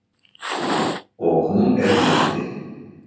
Og hún er lifandi.